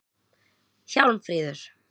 Hjálmfríður